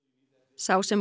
sá sem